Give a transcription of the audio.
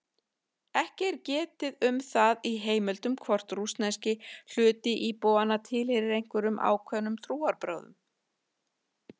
Ekki er getið um það í heimildum hvort rússneski hluti íbúanna tilheyrir einhverjum ákveðnum trúarbrögðum.